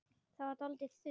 Það varð dálítið þunnt.